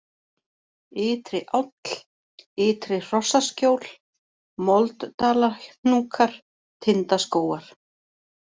Ytri-Áll, Ytri-Hrossaskjól, Molddalahnúkar, Tindaskógar